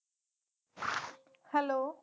Hello.